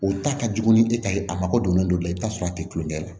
O ta ka jugu ni e ta ye a mago don ne la i bi t'a sɔrɔ a te tulonkɛ la